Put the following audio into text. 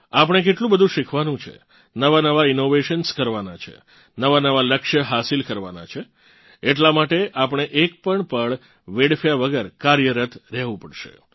આપણે કેટલું બધું શીખવાનું છે નવા નવા ઇનોવેશન્સ કરવાનાં છે નવાનવા લક્ષ્ય હાસિલ કરવાનાં છે એટલાં માટે આપણે એક પણ પળ વેડફ્યા વગર કાર્યરત રહેવું પડશે